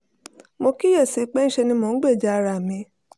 mo kíyè sí i pé ńṣe ni mò ń gbèjà ara mi